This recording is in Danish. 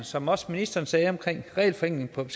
som også ministeren sagde omkring regelforenkling